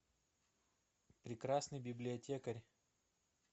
прекрасный библиотекарь